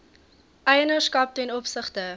eienaarskap ten opsigte